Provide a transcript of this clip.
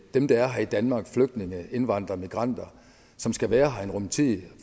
dem der er her i danmark flygtninge indvandrere og migranter som skal være her en rum tid